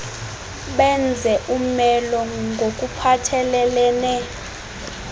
benze umelo ngokuphathelelene